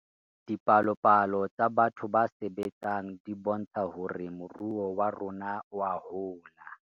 Dipalopalo tsa batho ba sebetseng di bontsha hore moruo wa rona oa hola